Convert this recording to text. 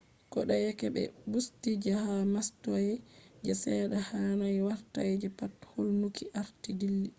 kodeyeke be busti je hado mastayi je sedda hanai warta je pat hulnuki arti dilli